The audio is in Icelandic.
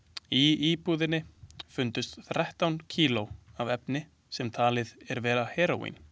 Í íbúðinni fundust þrettán kíló af efni sem talið er vera heróín.